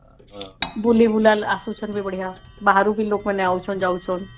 ବୁଲି ବୁଲା ଅସୁଛନ ବି ବଢିଆ ବାହାରୁ ବି ଲୋକ ମାନେ ଆଉଛନ ଯାଉଛନ